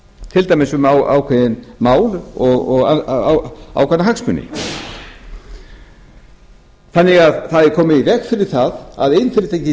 til dæmis um ákveðin mál og ákveðna hagsmuni það er því komið í veg fyrir það að iðnfyrirtæki